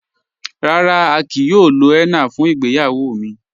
Rárá, à kíí yòò lò hénnà fún ìgbéyàwó mi..